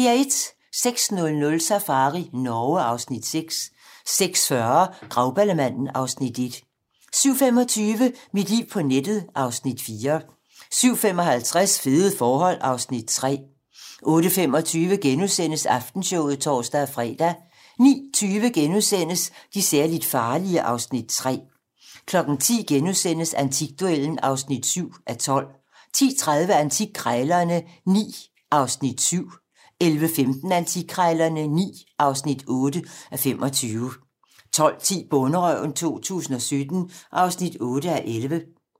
06:00: Safari Norge (Afs. 6) 06:40: Grauballemanden (Afs. 1) 07:25: Mit liv på nettet (Afs. 4) 07:55: Fede forhold (Afs. 3) 08:25: Aftenshowet *(tor-fre) 09:20: De særligt farlige (Afs. 3)* 10:00: Antikduellen (7:12)* 10:30: Antikkrejlerne XIX (7:25) 11:15: Antikkrejlerne XIX (8:25) 12:10: Bonderøven 2017 (8:11)